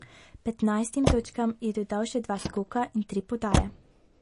Petnajstim točkam je dodal še dva skoka in tri podaje.